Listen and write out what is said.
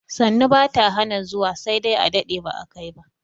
Sannu bata hana zuwa sai dai a dade ba a kai ba